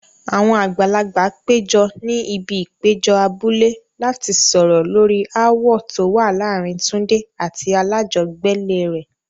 Àwọn àgbàlagbà péjọ ní ibi ìpéjọ abúlé láti sọ̀rọ̀ lórí ááwọ̀ tó wà láàárín Tunde àti alájọgbélé rẹ̀.